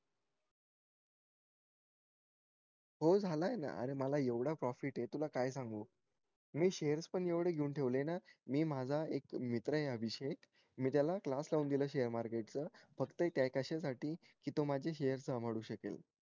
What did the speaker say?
हो झालाय ना अरे मला येवढा profit ये तुला काय सांगू मी shares पण एवढे घेऊन ठेवले ना मी माझा एक मित्र ये अभिषेक मी त्याला class लावून दिल share market च फक्त हे काय कशा साठी कि तो माझे share शकेल